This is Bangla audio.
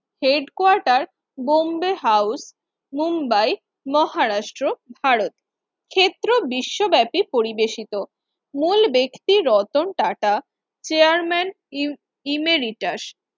Head Quater Bombay House Mumbai Maharashtra Bharat ক্ষেত্র বিশ্বব্যাপী পরিবেশিত ওই ব্যক্তি রতন টাটা chairman ইমেরিটাস